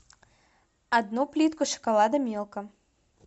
одну плитку шоколада милка